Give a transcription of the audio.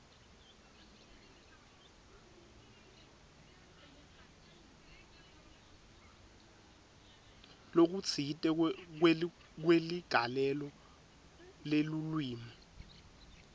lokutsite kweligalelo lelulwimi